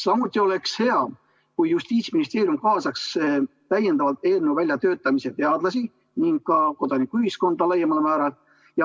Samuti oleks hea, kui Justiitsministeerium kaasaks täiendavalt eelnõu väljatöötamisse teadlasi ning kodanikuühiskonda laiemal määral.